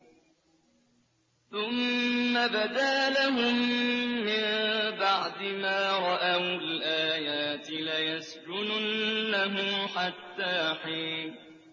ثُمَّ بَدَا لَهُم مِّن بَعْدِ مَا رَأَوُا الْآيَاتِ لَيَسْجُنُنَّهُ حَتَّىٰ حِينٍ